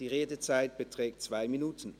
Die Redezeit beträgt 2 Minuten.